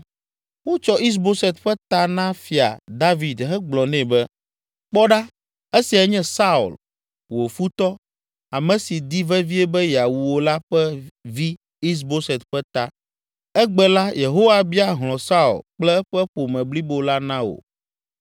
Wotsɔ Is Boset ƒe ta na Fia David hegblɔ nɛ be, “Kpɔ ɖa, esiae nye Saul, wò futɔ, ame si di vevie be yeawu wò la ƒe vi Is Boset ƒe ta. Egbe la Yehowa bia hlɔ̃ Saul kple eƒe ƒome blibo la na wò!”